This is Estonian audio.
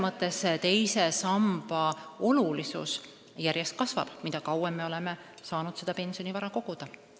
Aga teise samba olulisus kasvab seda rohkem, mida kauem me oleme saanud pensionivara koguda.